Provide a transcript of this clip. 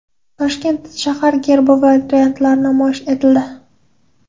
Toshkent shahar gerbining variantlari namoyish etildi .